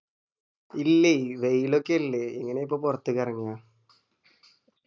ഇല്ല ഇ വെയിലൊക്കെ അല്ലെ എങ്ങനാ ഇപ്പൊ പൊറത്തേക്ക് എറങ്ങുഅ